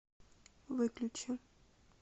выключи